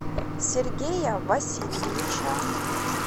сергея васильевича